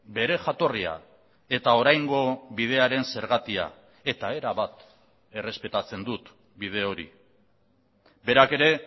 bere jatorria eta oraingo bidearen zergatia eta erabat errespetatzen dut bide hori berak ere